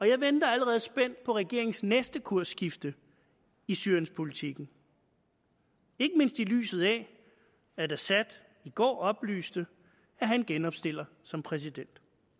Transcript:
jeg venter allerede spændt på regeringens næste kursskifte i syrienspolitikken ikke mindst i lyset af at assad i går oplyste at han genopstiller som præsident